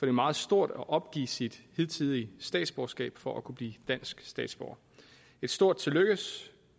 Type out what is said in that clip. er meget stort at opgive sit hidtidige statsborgerskab for at kunne blive dansk statsborger et stort tillykke